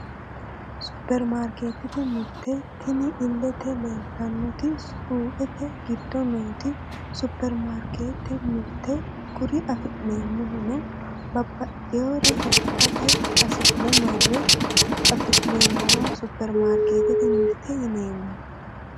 Supermarketete mirte tini illete leeltannoti suuqete giddo nooti supermarkete mirteeti kuri afi'neemmohuno babbaxxeyore hidhate hasi'ne marre afi'neemmowa supermarketete mirte yineemmo